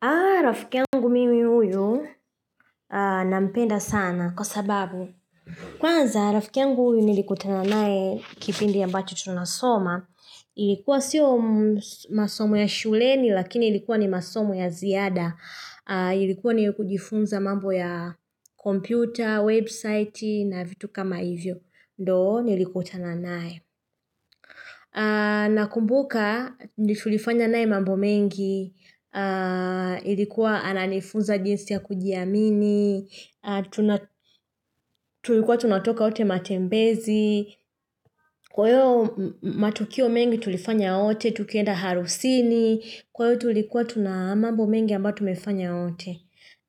A rafiki yangu mimi huyu nampenda sana kwa sababu kwanza rafiki yangu huyu nilikuutana naye kipindi ambacho tunasoma. Ilikuwa siyo masomo ya shuleni lakini ilikuwa ni masomo ya ziada. Ilikuwa ni kujifunza mambo ya kompyuta, website na vitu kama hivyo. Ndo nilikutana naye. Nakumbuka tulifanya naye mambo mengi. Ilikuwa ananifunza jinsi ya kujiamini tulikuwa tunatoka wote matembezi kwa hiyo matukio mengi tulifanya wote tukienda harusini kwa hiyo tulikuwa tuna mambo mengi ambayo tumefanya wote